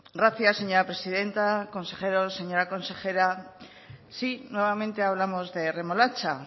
gracias señora presidenta consejeros señora consejera sí nuevamente hablamos de remolacha